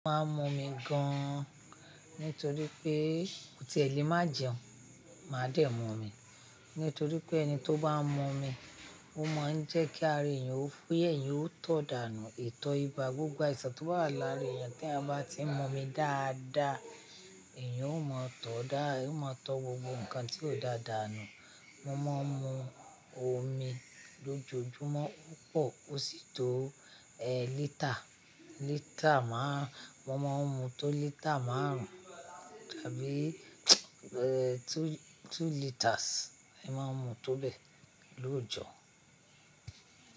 Máa ń mú omi gan, nítorí pé mo tiẹ̀ lè má jẹun, máa dẹ̀ mu omi. Nítorí pé ẹni tó bá ń mu omi, ó máa ń jẹ́ kí ara èèyàn ó fúyẹ́, èèyàn ó tọ̀ dànù, ìtọ̀ ibà, gbogbo àìsàn tó wà lára èèyàn téèyàn bá tí ń mú omi dáadáa, èèyàn ó máa tọ̀ọ́ dá, èèyàn ó máa tọ́ gbogbo nǹkan tí ó dáa dànù. Mo máa ń mú omi lójoojúmọ́ púpọ̀, ó sì tó ẹ́ lítà, lítà má, mo máa ń mú tó lítà márùn-ún tàbí ẹ́ two, two litres, mo máa ń mú tó bẹ lọ́òjọ́